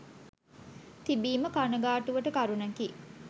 තිබීම කණගාටුවට කරුණකි.